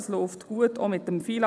Es läuft gut, auch mit dem FILAG.